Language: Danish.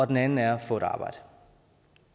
den anden er få et arbejde